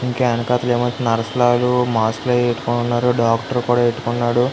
ఇంక యానాకతలా ఏమో నర్స్లు ఆలు మాస్క్ లు అవి అటుకొని ఉన్నారు. డాక్టర్ కూడా పెట్టుకున్నాడు.